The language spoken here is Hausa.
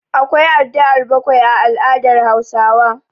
Akwa addu'ar bakwai a al'adar Hausawa.